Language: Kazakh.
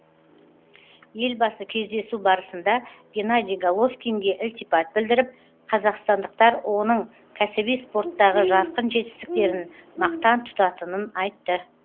елбасы кездесу барысында геннадий головкинге ілтипат білдіріп қазақстандықтар оның кәсіби спорттағы жарқын жетістіктерін мақтан тұтатынын айтты